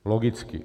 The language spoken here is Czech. Logicky.